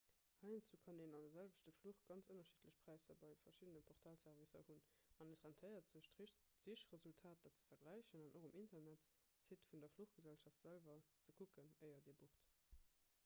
heiansdo kann een an de selwechte fluch ganz ënnerschiddlech präisser bei verschiddene portalservicer hunn an et rentéiert sech d'sichresultater ze vergläichen an och um internetsite vun der fluchgesellschaft selwer ze kucken éier dir bucht